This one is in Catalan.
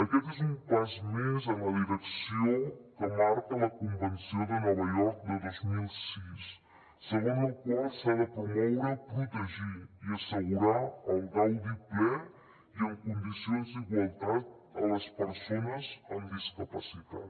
aquest és un pas més en la direcció que marca la convenció de nova york de dos mil sis segons la qual s’ha de promoure protegir i assegurar el gaudi ple i en condicions d’igualtat a les persones amb discapacitat